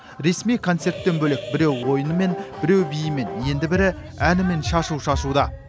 ресми концерттен бөлек біреу ойынымен біреу биімен енді бірі әнімен шашу шашуда